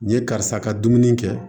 Nin ye karisa ka dumuni kɛ